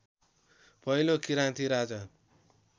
पहिलो किराँती राजा